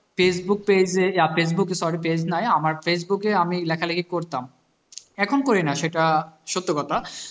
facebook page এ facebook sorry page নাই আমার facebook এ আমি লেখালিখি করতাম এখন করি না সেটা সত্য কথা